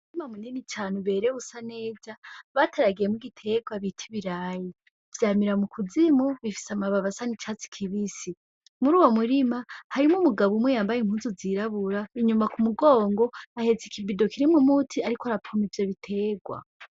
Umurima munini cane uberewe usa neza bateragiyemw'igiterwa bit'ibirayi, vyamira m'ukuzimu bifis'amababi asa n'icatsi kibisi . Mur'uwo murima harimw'umugabo umwe yambay'impuzu zirabura inyuma k'umugongo ahets'ikibido kirimw'umuti arik'arapompa ivyo biterwa.